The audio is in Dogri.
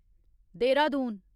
देहरादून